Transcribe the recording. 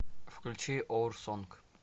включи оур сонг